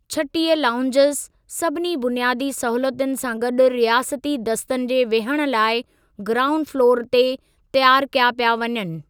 छटीह लाओंजज़ सभिनी बुनियादी सहूलतुनि सां गॾु रियासती दस्तनि जे विहण लाइ ग्राऊंड फ़्लोर ते तयारु कया पिया वञनि।